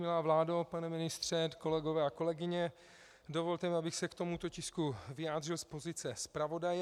Milá vládo, pane ministře, kolegové a kolegyně, dovolte mi, abych se k tomuto tisku vyjádřil z pozice zpravodaje.